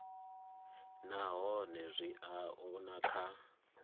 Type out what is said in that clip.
nahone zwi a oea kha